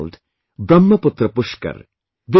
It's called Brahmaputra Pushkar